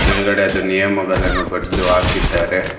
ಮೇಲ್ಗಡೆ ಅದು ನಿಯಮಗಳನ್ನು ಬರ್ದು ಹಾಕಿದ್ದಾರೆ.